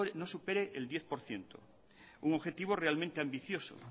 no supere el diez por ciento un objetivo realmente ambicioso